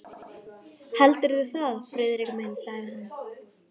Heldurðu það, Friðrik minn? sagði hann.